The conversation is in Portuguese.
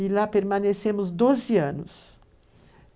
e lá permanecemos 12 anos.